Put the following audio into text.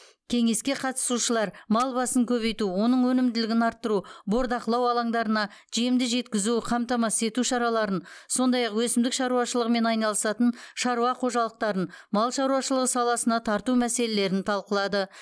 кеңеске қатысушылар мал басын көбейту оның өнімділігін арттыру бордақылау алаңдарына жемді жеткізуді қамтамасыз ету шараларын сондай ақ өсімдік шаруашылығымен айналысатын шаруа қожалықтарын мал шаруашылығы саласына тарту мәселелерін талқылады